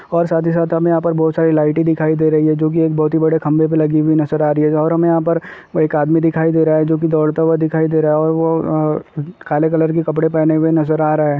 और साथ ही साथ हमे यहाँ पर बहुत सारी लाइटें दिखाई दे रही है जो कि एक बहुत ही बड़े खंभे पे लगी हुई नजर आ रही है और हमे यहाँ पर एक आदमी दिखाई दे रहा है जो कि दौड़ता हुआ दिखाई दे रहा और वो अ काले कलर की कपड़े पहने हुए नजर आ रहा है।